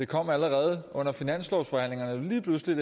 kom allerede under finanslovsforhandlingerne lige pludselig